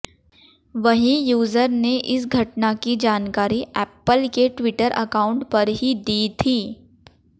वहीं यूजर ने इस घटना की जानकारी ऐप्पल के ट्विटर अकाउंट पर ही दी थी